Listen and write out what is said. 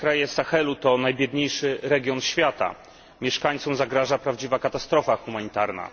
Kraje Sahelu to najbiedniejszy region świata. Mieszkańcom zagraża prawdziwa katastrofa humanitarna.